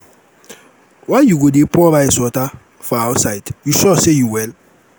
why you go dey pour rice water for outside? you sure say you well?